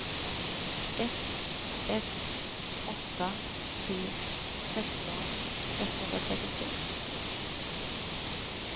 ett ett åtta tre sexton etthundratrettiotre